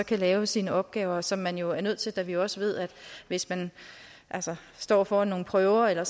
lave sine opgaver som man jo er nødt til da vi også ved at hvis man står foran nogle prøver eller